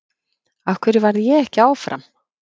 Af hverju varð ég ekki áfram?